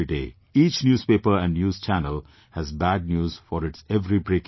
Each newspaper and news channel has bad news for its every 'breaking news'